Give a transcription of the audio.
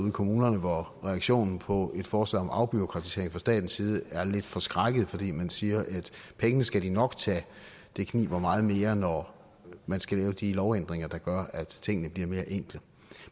i kommunerne hvor reaktionen på et forslag om afbureaukratisering fra statens side er lidt forskrækket fordi man siger at pengene skal de nok tage det kniber meget mere når man skal lave de lovændringer der gør at tingene bliver mere enkle